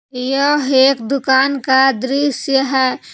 यह एक दुकान का दृश्य है।